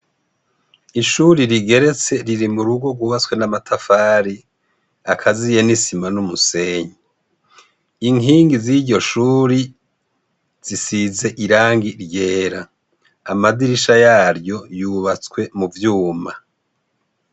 Ishuri rigeretse riri mu rugo rubatswe n'amatafari akaziye n'isima n'umusenyi inkingi z'iryo shuri zisize irangi ryera amadirisha yaryo yubatswe mu vyuma.